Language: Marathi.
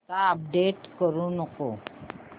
आता अपडेट करू नको